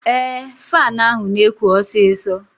Ee, faanụ ahụ na-ekụ osisọ